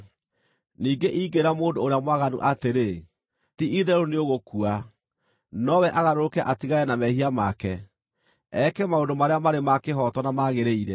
Ningĩ ingĩĩra mũndũ ũrĩa mwaganu atĩrĩ, ‘Ti-itherũ nĩũgũkua,’ nowe agarũrũke atigane na mehia make, eke maũndũ marĩa marĩ ma kĩhooto na magĩrĩire,